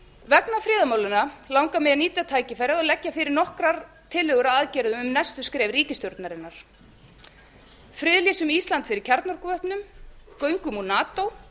vegna friðarmálanna langar mig að nýta tækifærið og leggja fyrir nokkrar tillögur að aðgerðum um næstu skref ríkisstjórnarinnar friðlýsum ísland fyrir kjarnorkuvopnum göngum úr nato